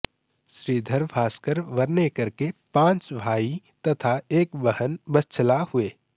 श्रीधर भास्कर वर्णेकर के पांच भाई तथा एक बहन वत्सला हुए